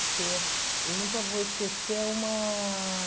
Porque eu nunca vou esquecer uma...